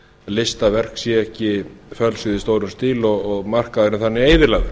listaverk séu ekki fölsuð í stórum stíl og markaðurinn þannig eyðilagður